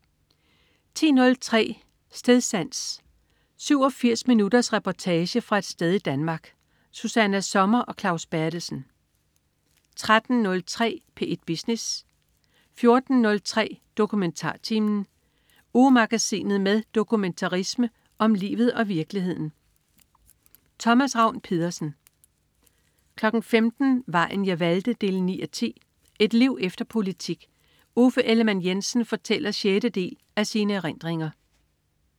10.03 Stedsans. 87 minutters reportage fra et sted i Danmark. Susanna Sommer og Claus Berthelsen 13.03 P1 Business 14.03 DokumentarTimen. Ugemagasinet med dokumentarisme om livet og virkeligheden. Thomas Ravn-Pedersen 15.00 Vejen jeg valgte 9:10. Et liv efter politik. Uffe Ellemann-Jensen fortæller sjette del af sine erindringer